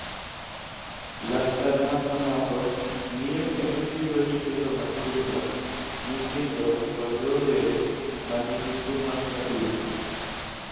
Laktar ma kamago ng�iyo kendo thiedho nyithindo matindo, nyithindo, kod rowere ma nigi tuo mag adundo.